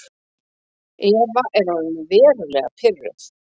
Eva er orðin verulega pirruð.